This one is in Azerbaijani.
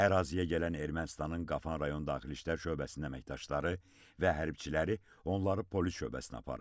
Əraziyə gələn Ermənistanın Qafan rayon daxili İşlər şöbəsinin əməkdaşları və hərbiçiləri onları polis şöbəsinə aparıb.